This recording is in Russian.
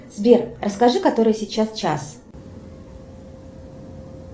сбер расскажи который сейчас час